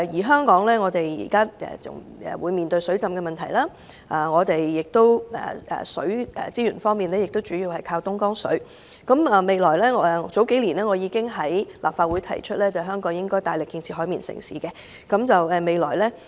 香港現時要面對水浸的問題，本港在水資源方面主要靠東江水，我數年前已在立法會提出，香港應該大力建設"海綿城市"。